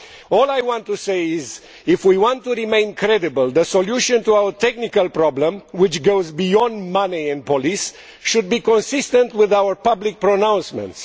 All I want to say is that if we want to remain credible, the solution to our technical problem, which goes beyond money and police, should be consistent with our public pronouncements.